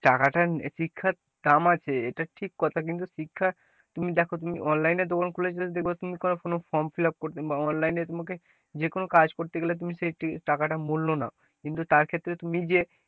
টাকা টা শিক্ষার দাম আছে এটা ঠিক কথা কিন্তু শিক্ষা তুমি দেখো তুমি online এ দোখান form fill up বা online এ তোমাকে যেকোনো কাজ করতে গেলে তুমি সেই টাকা টা মূল্য নাউ, কিন্তু তার ক্ষেত্রে তুমি যে,